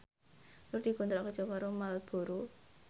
Nur dikontrak kerja karo Marlboro